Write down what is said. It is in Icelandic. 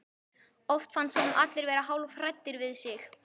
Oft fannst honum allir vera hálfhræddir við sig.